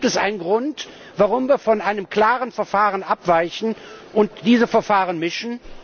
Gibt es einen Grund, warum wir von einem klaren Verfahren abweichen und diese Verfahren mischen?